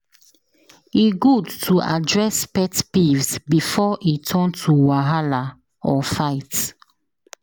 E good to address pet peeves before e turn to wahala or fight.